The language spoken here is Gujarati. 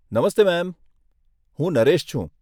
નમસ્તે મેમ, હું નરેશ છું.